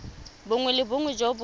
bongwe le bongwe jo bo